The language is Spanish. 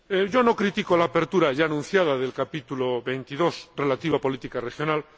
Yo no critico la apertura ya anunciada del capítulo 22, relativo a la política regional.